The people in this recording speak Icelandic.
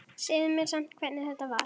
Segðu mér samt hvernig þetta var.